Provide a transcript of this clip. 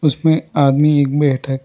उसमें आदमी एक बैठा है।